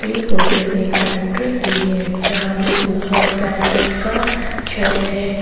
ये फोटो एक फैक्ट्री की है जहां पे ऊपर गैजेट का छत है।